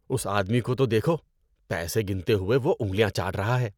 اس آدمی کو تو دیکھو۔ پیسے گنتے ہوئے وہ انگلیاں چاٹ رہا ہے۔